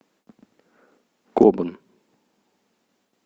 кобан